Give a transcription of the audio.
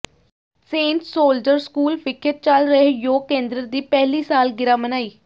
Saint soldier school ਵਿਖੇ ਚਲ ਰਹੇ ਯੋਗ ਕੇਂਦਰ ਦੀ ਪਹਿਲੀ ਸਾਲ ਗਿਰਾ ਮਨਾਈ